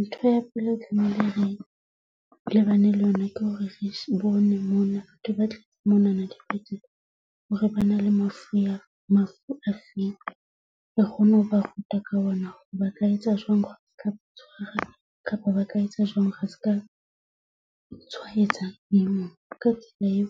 Ntho ya pele eo re tlamehile re lebane le yona ke hore re bone mona. Ke batla monana hore ba na le mafu mafu a feng re kgone ho ba ruta ka ona hore ba ka etsa jwang kapa ba ka etsa jwang re ska tshwaetsa e mong. Ka tsela eo